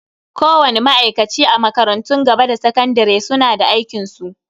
Kowani ma'aikaci a makarantun gaba da sakandare suna da aikinsu.